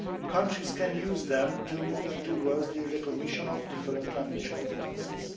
Countries can use them to move towards the recognition of different language competences.